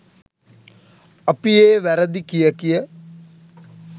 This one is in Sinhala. අපි ඒ වැරදි කිය කිය